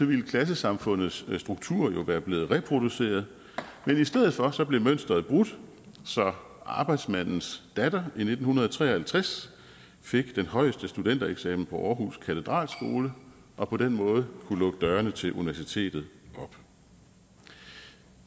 ville klassesamfundets struktur jo være blevet reproduceret men i stedet for blev mønstret brudt så arbejdsmandens datter i nitten tre og halvtreds fik den højeste studentereksamen på aarhus katedralskole og på den måde kunne lukke dørene til universitetet op